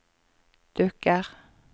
dukker